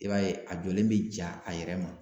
I b'a ye a jɔlen bɛ ja a yɛrɛ ma.